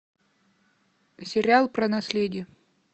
сериал про наследие